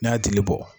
N'a y'a jeli bɔ